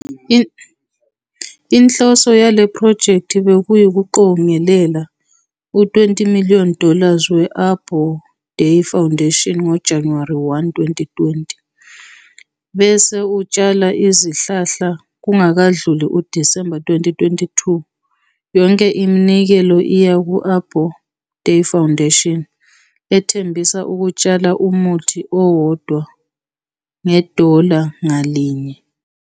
Inhloso yale phrojekthi bekuwukuqongelela u- 20 million dollars we- Arbor Day Foundation ngoJanuwari 1, 2020 bese utshala izihlahla "kungakadluli uDisemba 2022". Yonke iminikelo iya kwi-Arbor Day Foundation ethembisa ukutshala umuthi owodwa ngedola ngalinye.